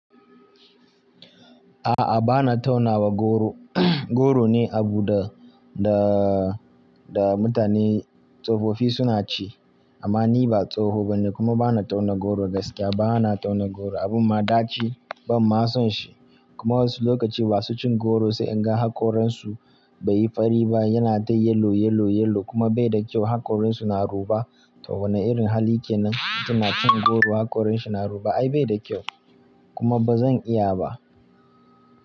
A'a, ba na taunawa goro. Goro ne abu da, da, da mutane tsofofi suna ci amma ni ba tsoho bane kuma ba na tauna goro gaskiya ba. Ba na tauna goro abun ma ɗaci ban ma son shi kuma wasu lokaci masu cin goro sai in ga haƙoran su bai yi fari ba yana dai yellow, yellow, yellow kuma bai da kyau. Haƙoran su na ruba to wane irin hali kenan? Suna cin goro haƙoran shi na ruba ai bai da kyau kuma ba zan iya ba.